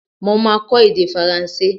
Mo máa kọ èdè faransé.